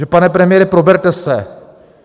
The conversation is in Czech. Takže pane premiére, proberte se!